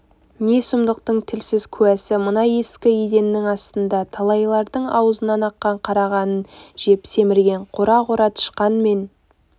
не сұмдықтың тілсіз куәсі мына ескі еденнің астында талайлардың аузынан аққан қара қанын жеп семірген қора-қора тышқан мен